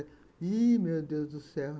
Ih, meu Deus do céu!